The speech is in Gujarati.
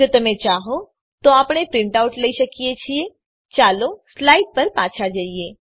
જો તમે ચાહો તો આપણે પ્રીંટ આઉટ લઇ શકીએ છીએ ચાલો સ્લાઈડ પર પાછા જઇએ